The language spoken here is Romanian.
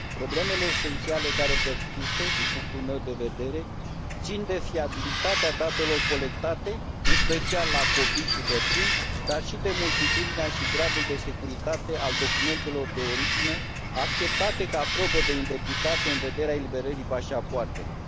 Problemele esențiale care persistă, din punctul meu de vedere, țin de fiabilitatea datelor colectate, în special la copii și bătrâni, dar și de multitudinea și gradul de securitate al documentelor de origine acceptate ca probă de identitate în vederea eliberării pașapoartelor.